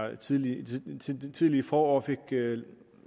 det tidlige tidlige forår fik